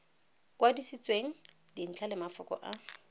kwadisitsweng dintlha le mafoko a